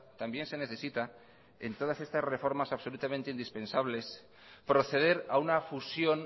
también se necesita en todas estas reformas absolutamente indispensables proceder a una fusión